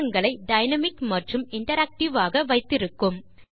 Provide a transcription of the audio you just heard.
பாடங்களை டைனாமிக் மற்றும் இன்டராக்டிவ் ஆக வைத்திருக்கும்